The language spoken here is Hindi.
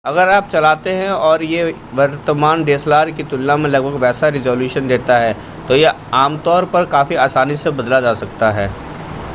अगर आप चलाते हैं और यह वर्तमान dslr की तुलना में लगभग वैसा रिज़ॉल्यूशन देता है तो यह आमतौर पर काफी आसानी से बदला जा सकता है